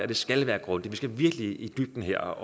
det skal være grundigt vi skal virkelig i dybden her